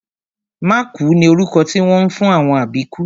Mákùú ni orúkọ tí wọ́n ń fún àwọn àbíkú